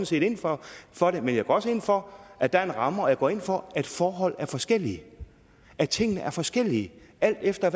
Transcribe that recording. set ind for for dem men jeg går også ind for at der er en ramme og jeg går ind for at forholdene er forskellige at tingene er forskellige alt efter